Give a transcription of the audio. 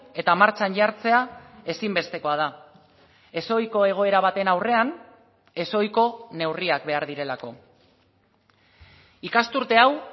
eta martxan jartzea ezinbestekoa da ezohiko egoera baten aurrean ezohiko neurriak behar direlako ikasturte hau